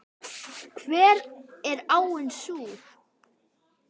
Hver er áin sú?